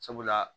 Sabula